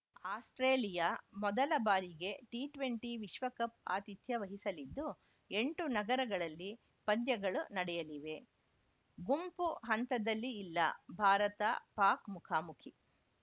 Australia ಮೊದಲ ಬಾರಿಗೆ T twenty ವಿಶ್ವಕಪ್‌ ಆತಿಥ್ಯ ವಹಿಸಲಿದ್ದು ಎಂಟು ನಗರಗಳಲ್ಲಿ ಪಂದ್ಯಗಳು ನಡೆಯಲಿವೆ ಗುಂಪು ಹಂತದಲ್ಲಿ ಇಲ್ಲ ಭಾರತಪಾಕ್‌ ಮುಖಾಮುಖಿ